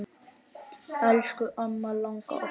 Elsku amma langa okkar.